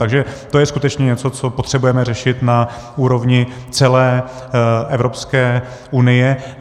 Takže to je skutečně něco, co potřebujeme řešit na úrovni celé Evropské unie.